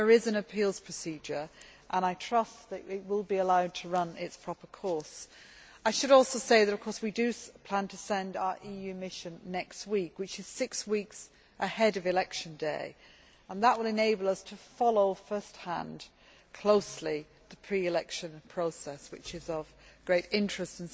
There is an appeals procedure, which I trust will be allowed to run its proper course. I should also say that we do plan to send our EU mission next week, which is six weeks ahead of election day, and that will enable us to follow first hand and closely the pre election process, which is of great interest.